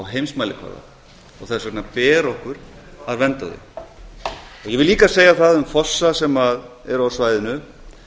heimsmælikvarða og þess vegna ber okkur að vernda þau ég vil líka segja það um fossa sem eru á svæðinu